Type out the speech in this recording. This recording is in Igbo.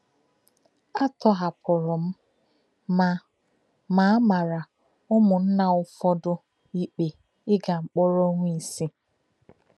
À tọhapùrù m, ma ma a màrà ụmụnna Ụ̀fọ́dị̀ ikpe íga mkpọ̀rọ ọnwa isii.